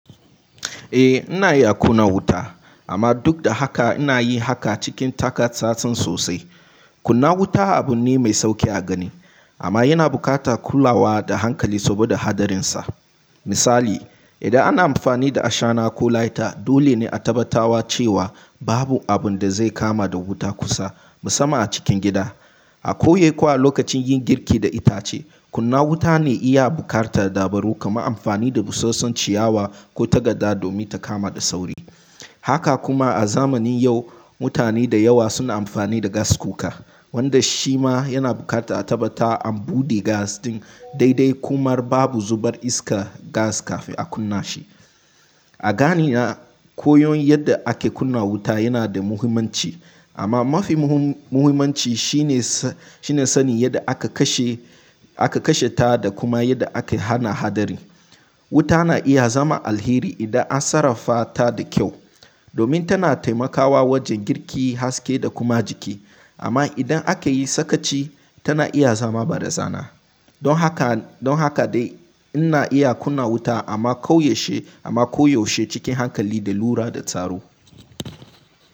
Eh ina iya kunna wuta amma duk da haka inayi haka cikin taka tsatsan sosai. Kunna wuta abune mai sauƙi a gani amma yana buƙatar kulawa da hankali saboda hadarinsa. Misali, idan ana amfani da ashana ko lighter dole ne a tabbata cewa babu abunda zai kama da wuta kusa musamman a cikin gida. A koyi kuwa lokacin yin girki da itace, kunna wuta ne iya buƙatar dabaru kamar amfani da busassun ciyawa ko tagada domin ta kama da sauri. Haka kuma a zamanin yau mutane da yawa suna amfani da gas cooker wanda shima yana buƙatar a tabbata an buɗe gas ɗin daidai kuma babu zubar iskar gas kafin a kunna shi. A ganina koyon yadda ake kunna wuta yanada muhimmanci amma mafi muhimmanci shine shine sani yadda ake kasheta da kuma yadda ake hana hadari. Wuta na iya zama alheri idan an sarrafata da kyau domin tana taimakawa wajen girki, haske da kuma jiki amma idan akayi sakaci tana iya zama barazana don haka. Don haka dai ina iya kunna wuta amma kauyaushe she cikin hankali da lura da tsaro.